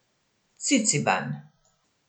Ciciban.